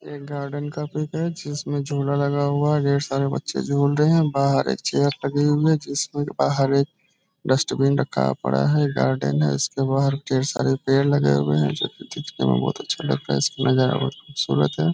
ये गार्डन का पीक है जिसमे झूला लगा हुआ है ढेर सारे बच्चे झूल रहे हैं बाहर एक चेयर लगी हुई है जिसमे बहार एक डस्टबिन रखा पड़ा है गार्डन है उसके बाहर वहाँ ढेर सारे पेड़ लगे हुए हैं जो की दिखने में बोहोत अच्छे लग रहे हैं नजारा बोहोत खूबसूरत है।